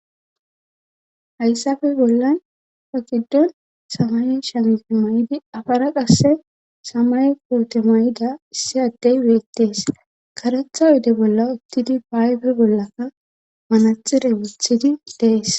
Hayssafe bollan pakiddon samay shamfe may7idi afara qasse samay koote may7ida issi addey weettees karetha oyde bolla uttidi baaybe bollaka manaxire wulthidi dees.